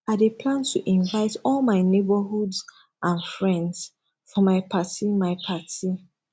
i dey plan to invite all my neighbors and friends for my party my party